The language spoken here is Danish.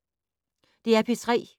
DR P3